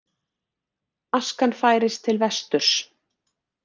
Askan færist til vesturs